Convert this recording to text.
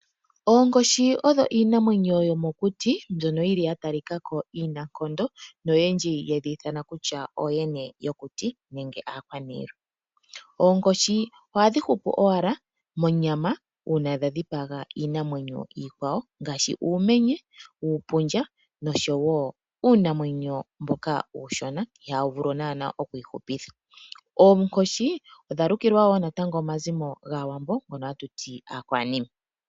Oonkoshi odho iinamwenyo yomokuti mbyono yili ya tali kako inankondo noyendji yedhi ithana kutya ooyene yokuti nenge aakwanilwa. Oonkoshi ohadhi hupu owala monyama una dha dhipaga iinamwenyo ikwawo ngaashi uumenye, uupundja noshowo uunamwenyo mboka uushona iha wu vulu nana oku ihupitha. Oonkoshi odha lukilwa wo natango omazimo gaawambo ngono hatu ti aakwanime.